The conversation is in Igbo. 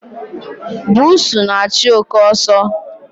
Bụsu na-achụ oké ọsọ.